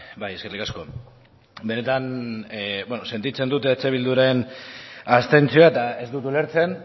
bai eskerrik asko benetan sentitzen dut eh bilduren abstentzioa eta ez dut ulertzen